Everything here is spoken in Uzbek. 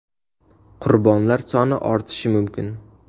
Qurbonlar soni ortishi mumkin.